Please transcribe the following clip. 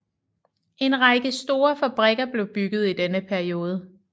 En række store fabrikker blev bygget i denne periode